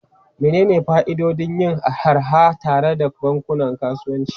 Menene fa'idodin yin harha tare da bankunan kasuwanci?